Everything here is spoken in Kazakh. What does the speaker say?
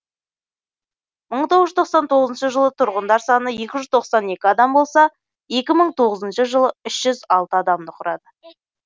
мың тоғыз жүз тоқсан тоғызыншы жылы тұрғындар саны екі жүз тоқсан екі адам болса екі мың тоғызыншы жылы үш жүз алты адамды құрады